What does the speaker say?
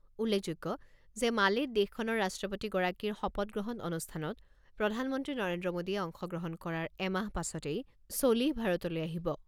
উল্লেখযোগ্য যে মালেত দেশখনৰ ৰাষ্ট্ৰপতিগৰাকীৰ শপত গ্ৰহণ অনুষ্ঠানত প্ৰধানমন্ত্ৰী নৰেন্দ্ৰ মোডীয়ে অংশগ্ৰহণ কৰাৰ এমাহৰ পাছতেই ছলিহ ভাৰতলৈ আহিব।